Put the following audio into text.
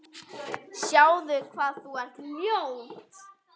Sjáðu hvað þú ert ljót.